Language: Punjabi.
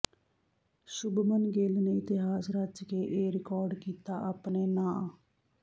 ਸ਼ੁਭਮਨ ਗਿੱਲ ਨੇ ਇਤਿਹਾਸ ਰਚ ਕੇ ਇਹ ਰਿਕਾਰਡ ਕੀਤਾ ਆਪਣੇ ਨਾਂ